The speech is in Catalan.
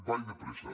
vaig de pressa